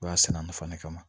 U b'a sɛnɛ a nafa de kama